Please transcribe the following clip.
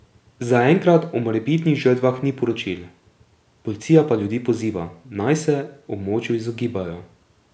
Zaenkrat o morebitnih žrtvah ni poročil, policija pa ljudi poziva, naj se območju izogibajo.